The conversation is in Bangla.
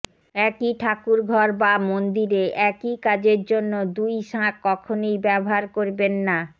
একই ঠাকুরঘর বা মন্দিরে একই কাজের জন্য দুই শাঁখ কখনই ব্যবহার করবেন না